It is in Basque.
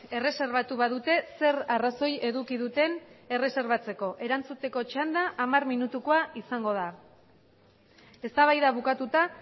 erreserbatu badute zer arrazoi eduki duten erreserbatzeko erantzuteko txanda hamar minutukoa izango da eztabaida bukatuta